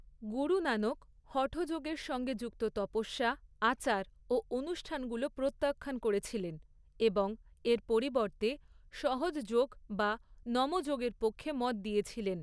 গুরু নানক হঠযোগের সঙ্গে যুক্ত তপস্যা, আচার ও অনুষ্ঠানগুলো প্রত্যাখ্যান করেছিলেন এবং এর পরিবর্তে সহজ যোগ বা নম যোগের পক্ষে মত দিয়েছিলেন।